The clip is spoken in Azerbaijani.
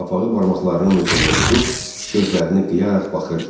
Qapağı barmaqlarının ucunda tutub gözlərini qıyaraq baxırdı.